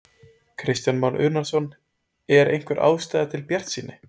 Kristján Már Unnarsson: Er einhver ástæða til bjartsýni?